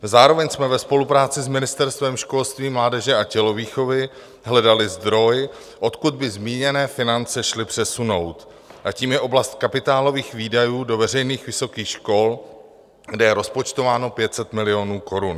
Zároveň jsme ve spolupráci s Ministerstvem školství, mládeže a tělovýchovy hledali zdroj, odkud by zmíněné finance šly přesunout, a tím je oblast kapitálových výdajů do veřejných vysokých škol, kde je rozpočtováno 500 milionů korun.